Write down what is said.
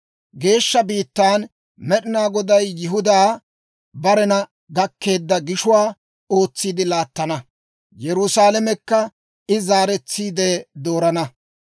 Geeshsha biittaan Med'inaa Goday Yihudaa barena gakkeedda gishuwaa ootsiide laattana; Yerusaalamekka I zaaretsiide doorana.